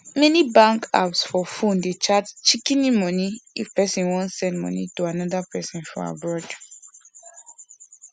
many bank apps for phone dey charge shikini money if person wan send money to another person for abroad